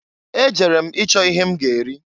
Ejere m ịchọ ihe m ga-eri.